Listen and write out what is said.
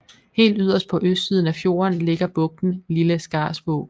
Helt yderst på østsiden af fjorden ligger bugten Lille Skarsvåg